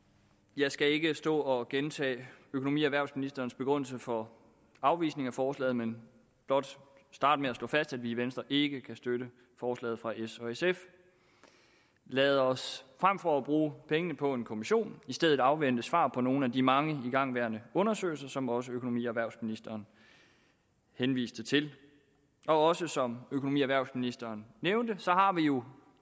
jeg skal ikke stå og gentage økonomi og erhvervsministerens begrundelse for afvisning af forslaget men blot starte med at slå fast at vi i venstre ikke kan støtte forslaget fra s og sf lad os frem for at bruge pengene på en kommission i stedet afvente svar på nogle af de mange igangværende undersøgelser som også økonomi og erhvervsministeren henviste til og også som økonomi og erhvervsministeren nævnte har vi jo